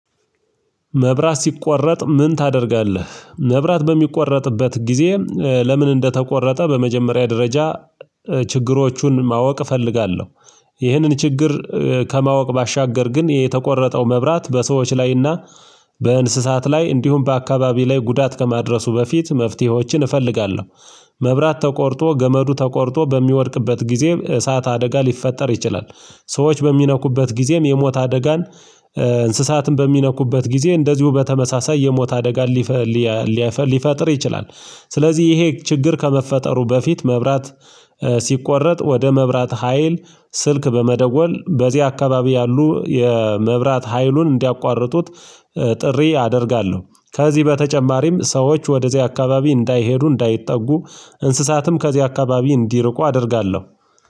መብራት ሲቆረጥ ምን ታደርጋለህ መብራት በሚቆረጥበት ጊዜ ለምን እንደተቆረጠ በመጀመሪያ ደረጃ ችግሮቹን ማወቅ እፈልጋለሁ። ይህንን ችግር ከማወቅ ባሻገር ግን የተቆረጠው መብራት በሰዎች ላይና በእንስሳት ላይ እንዲሁም በአካባቢው ላይ ጉዳት ከማድረሱ በፊት መፍትሄዎችን እፈልጋለሁ። መብራት ተቆርጦ ገመዱ ተቆርጦ በሚወድቅበት ጊዜ እሳት አደጋ ሊፈጠር ይችላል። ሰዎች በሚነኩበት ጊዜም የሞት አደጋን እንስሳትን በሚነኩበት ጊዜ እንደዚሁ በተመሳሳይ የሞት አደጋ ሊፈጥር ይችላል። ስለዚህ ይሄ ችግር ከመፈጠሩ በፊት መብራት ሲቆረጥ ወደ መብራት ሀይል ስልክ በመደወል በዚህ አካባቢ ያሉ የመብራት ሀይሉን እንዲያቋርጡት ጥሪ አደርጋለሁ። ከዚህ በተጨማሪም ሰዎች ወደዚያ አካባቢ እንዳይሄዱ እንዳይጠጉ እንስሳትም ከዚህ አካባቢ እንዲርቁ አደርጋለሁ